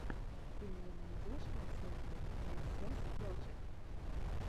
ты мне найдешь концерты эксэс проджект